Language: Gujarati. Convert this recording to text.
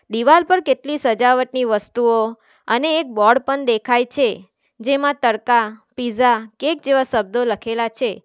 દિવાલ પર કેટલી સજાવટની વસ્તુઓ અને એક બોર્ડ પણ દેખાય છે જેમાં તડકા પીઝા કેક જેવા શબ્દો લખેલા છે.